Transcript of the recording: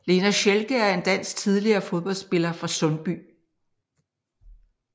Lena Schelke er en dansk tidligere fodboldspiller fra Sundby